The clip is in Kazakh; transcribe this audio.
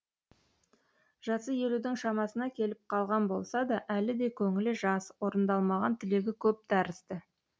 жасы елудің шамасына келіп қалған болса да әлі де көңілі жас орындалмаған тілегі көп тәрізді